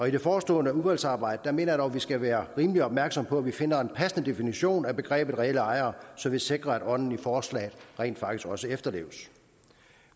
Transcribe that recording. i det forestående udvalgsarbejde mener at vi skal være rimelig opmærksomme på at vi finder en passende definition af begrebet reelle ejere så vi sikrer at ånden i forslaget rent faktisk også efterleves